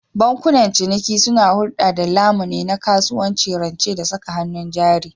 Bankunan ciniki suna hulɗa da lamuni na kasuwanci, rance da saka hannun jari.